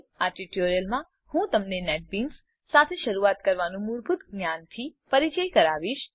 આ ટ્યુટોરીયલમાં હું તમને નેટબીન્સ સાથે શરૂઆત કરવાનાં મૂળભૂત જ્ઞાનથી પરીચય કરાવીશ